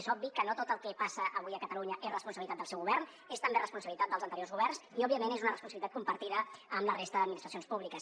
és obvi que no tot el que passa avui a catalunya és responsabilitat del seu govern és també responsabilitat dels anteriors governs i òbviament és una responsabilitat compartida amb la resta d’administracions públiques